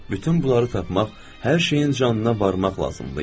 Bütün bunları tapmaq, hər şeyin canına varmaq lazım idi.